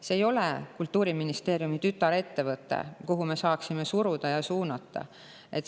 See ei ole Kultuuriministeeriumi tütarettevõte, mida me saaksime suruda ja suunata.